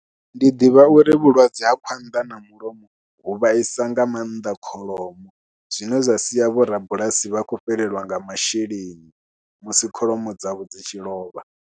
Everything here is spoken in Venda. Ndi ḓivha uri vhulwadze ha khwanḓa na mulomo hu vhaisa nga maanḓa kholomo zwine zwa sia vhorabulasi vha khou fhelelwa nga masheleni musi kholomo dzavho dzi tshi lovha.